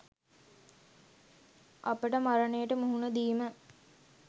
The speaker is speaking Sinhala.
අපට මරණයට මුහුණ දීම